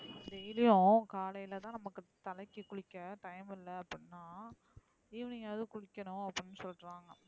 Daily யும் காலைல தான் நமக்கு தலைக்கு குளிக்க time இல்ல அப்டினா evening அவது குளிக்கணும் அப்டின்னு சொல்றாங்க,